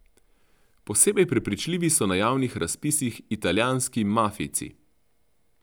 Posebej prepričljivi so na javnih razpisih italijanski mafijci.